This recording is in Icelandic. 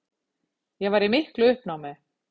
Ég var í miklu uppnámi.